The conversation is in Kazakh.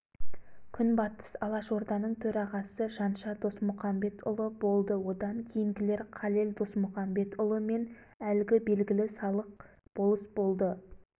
күнбатыс алашорданың төрағасы жанша досмұқамбетұлы болды одан кейінгілер қалел досмұқамбетұлы мен әлгі белгілі салық болыс болды